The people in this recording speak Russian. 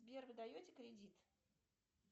сбер вы даете кредит